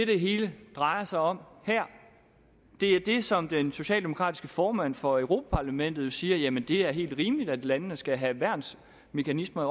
det hele drejer sig om her det er det som den socialdemokratiske formand for europa parlamentet jo siger nemlig at det er helt rimeligt at landene skal have værnsmekanismer